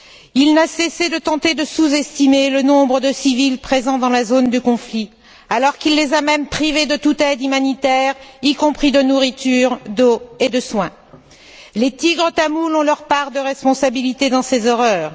Il n'a cessé de tenter de sous estimer le nombre de civils présents dans la zone de conflit alors qu'il les a même privés de toute aide humanitaire, y compris de nourriture, d'eau et de soins. Les Tigres tamouls ont leur part de responsabilité dans ces horreurs.